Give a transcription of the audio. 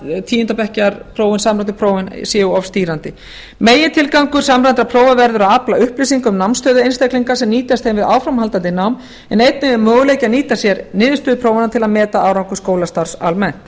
af tíunda bekkjar prófum að samræmdu prófin séu of stýrandi megintilgangur samræmdra prófa verður að afla upplýsinga um námsstöðu einstaklinga sem nýtast þeim við áframhaldandi nám en einnig er möguleiki að nýta sér niðurstöðu prófanna til að meta árangur skólastarfs almennt